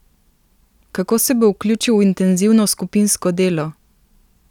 Kako se bo vključil v intenzivno skupinsko delo?